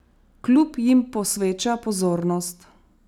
Klub jim posveča pozornost.